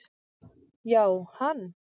Já, hann